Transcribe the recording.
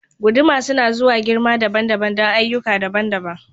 Guduma suna zuwa da girma dabam-dabam don ayyuka daban-daban.